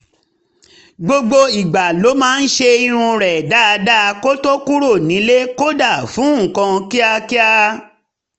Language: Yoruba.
gbogbo ìgbà ló máa ń ṣe irun rẹ̀ dáadáa kó tó kúrò nílé kódà fún nǹkan kíákíá